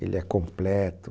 Ele é completo.